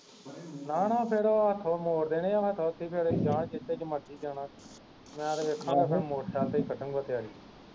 ਨਾ ਨਾ ਫਿਰ ਹੱਥੋ ਮੋੜੇ ਦੇਣੇ ਆ ਫਿਰ ਜਾ ਜਿਥੇ ਮਰਜੀ ਜਾਣਾ ਮੈਂ ਤੇ ਵੇਖਾਗਾ ਫਿਰ ਮੋਟਰਸਾਈਕਲ ਤੇ ਕੱਢਣ ਵਾ ਤਿਆਰੀ